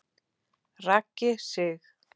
Raggi Sig.